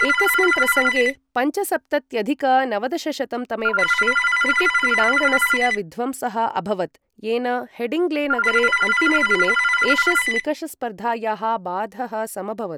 एकस्मिन् प्रसङ्गे, पञ्चसप्तत्यधिक नवदशशतं तमे वर्षे क्रिकेट् क्रीडाङ्गणस्य विध्वंसः अभवत्, येन हेडिङ्ग्ले नगरे अन्तिमे दिने एशस् निकषस्पर्धायाः बाधः समभवत्।